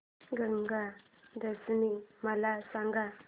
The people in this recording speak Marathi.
गंगा दशमी मला सांग